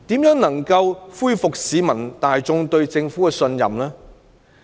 如何能夠恢復市民大眾對政府的信任呢？